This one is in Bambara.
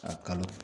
A kalo